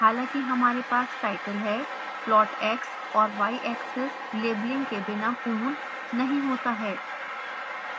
हालांकि हमारे पास टाइटल है प्लॉट x और y axes लेबलिंग के बिना पूर्ण नहीं होता है